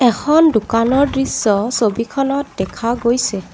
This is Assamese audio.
এখন দোকানৰ দৃশ্য ছবিখনত দেখা গৈছে।